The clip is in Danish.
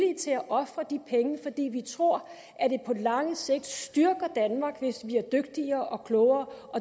til at ofre de penge fordi vi tror at det på lang sigt styrker danmark hvis vi bliver dygtigere og klogere